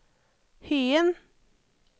Hyen